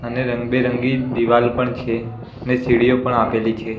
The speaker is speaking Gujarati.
અને રંગ બેરંગી દીવાલ પણ છે ને સીડીઓ પણ આપેલી છે.